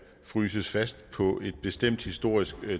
fryses fast på et bestemt historisk